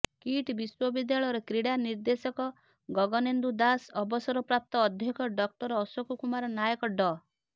kit ବିଶ୍ୱବିଦ୍ୟାଳୟର କ୍ରୀଡ଼ା ନିର୍ଦେଶକ ଗଗନେନ୍ଦୁ ଦାସ ଅବସରପ୍ରାପ୍ତ ଅଧ୍ୟକ୍ଷ ଡକ୍ଟର ଅଶୋକ କୁମାର ନାୟକ ଡ